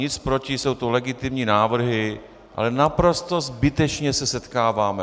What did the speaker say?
Nic proti, jsou to legitimní návrhy, ale naprosto zbytečně se setkáváme.